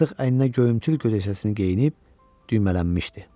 Artıq əyninə göyümtül gözəkçəsini geyinib düymələnmişdi.